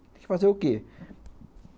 Tem que fazer o quê?